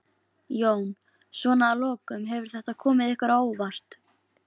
Jón: Svona að lokum, hefur þetta komið ykkur á óvart?